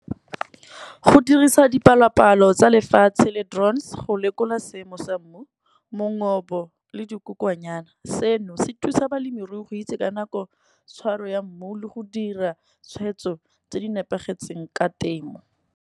Go dirisa dipalopalo tsa lefatshe le go lekola seemo sa mmu, mongopo le dikokwonyana. Seno se thusa balemirui go itse ka nako tshwaro ya mmu, le go dira tshweetso tse di nepagetseng ka temo.